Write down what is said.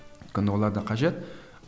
өйткені олар да қажет